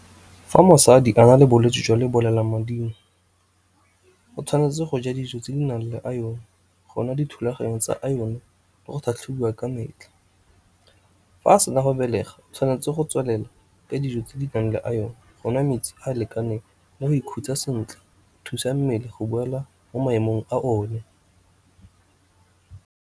Fa mosadi a na le bolwetsi jwa lebolelamading o tshwanetse go ja dijo tse di nang le iron, go nwa dithulaganyo tsa iron, le go tlhatlhobiwa ka metlha. Fa a sena go belega o tshwanetse go tswelela ka dijo tse di nang le iron, go nwa metsi a lekaneng, le go ikhutsa sentle go thusa mmele go boela mo maemong a one.